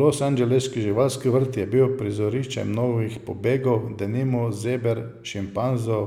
Losangeleški živalski vrt je bil prizorišče mnogih pobegov, denimo zeber, šimpanzov,